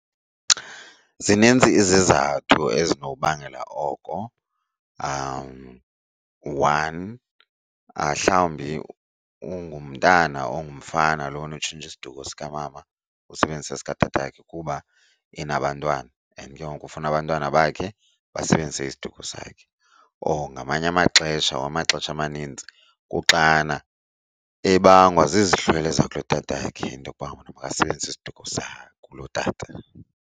Zininzi izizathu ezinobangela oko. One, hlawumbi ungumntana ongumfana lona utshintsha isiduko sikamama usebenzisa esikatatakhe kuba enabantwana and ke ngoku ufuna abantwana bakhe basebenzise isiduko sakhe. Or ngamanye amaxesha or amaxesha amanintsi kuxana ebangwa zizihlwele zakulotatakhe into okuba makasebenzise isiduko sakulotata.